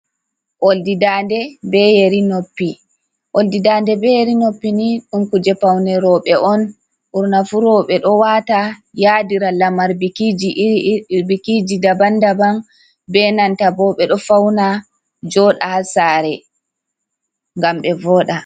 Oldi dande be yeri noppi, oldi dande be yeri noppi ni ɗum kuje paune roɓɓe on ɓurna fu roɓɓe ɗo wata yadira lamar bikiji daban daban be nanta bo ɓeɗo fauna joɗa ha sare gam ɓe voɗa.